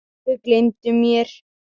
Þau gleymdu mér.